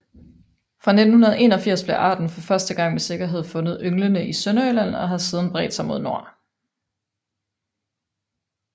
Fra 1981 blev arten for første gang med sikkerhed fundet ynglende i Sønderjylland og har siden bredt sig mod nord